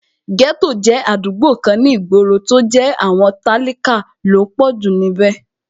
Ghetto jẹ́ àdúgbò kan ní ìgboro, tó jẹ́ àwọn tálákà ló pọ̀jù níbẹ̀